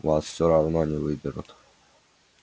вас все равно не выберут